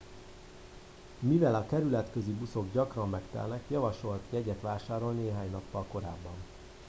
mivel a kerületközi buszok gyakran megtelnek javasolt jegyet vásárolni néhány nappal korábban